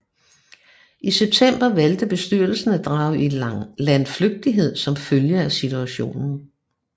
I september valgte bestyrelsen at drage i landflygtighed som følge af situationen